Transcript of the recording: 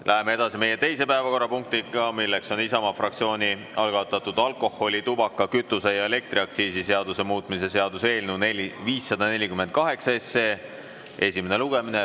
Läheme edasi teise päevakorrapunktiga: Isamaa fraktsiooni algatatud alkoholi‑, tubaka‑, kütuse‑ ja elektriaktsiisi seaduse muutmise seaduse eelnõu 548 esimene lugemine.